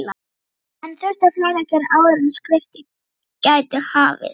Enn þurfti fleira að gera áður en skriftir gætu hafist.